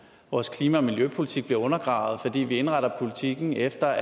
vores klima og miljøpolitik bliver undergravet fordi vi indretter politikken efter